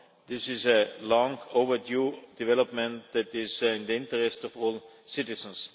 This is a long overdue development that is in the interest of all citizens.